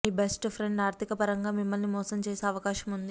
మీ best friend ఆర్థిక పరంగా మిమ్మల్ని మోసం చేసే అవకాశం ఉంది